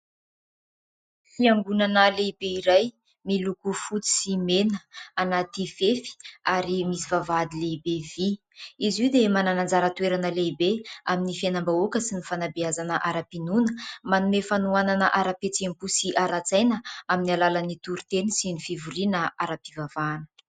Fiangonana lehibe iray miloko fotsy sy mena anaty fefy ary misy vavahady lehibe vy. Izy io dia manana anjara toerana lehibe amin'ny fiainam-bahoaka sy ny fanabeazana ara-pinoana, manome fanohanana ara-pihetseham-po sy ara-tsaina amin'ny alalan'ny toriteny sy ny fivoriana ara-pivavahana.